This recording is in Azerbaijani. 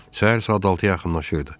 Səhər saat altıya yaxınlaşırdı.